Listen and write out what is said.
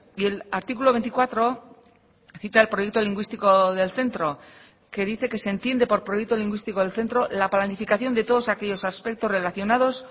y el artículo veinticuatro cita el proyecto lingüístico del centro que dice que se entiende por proyecto lingüístico del centro la planificación de todos aquellos aspectos relacionados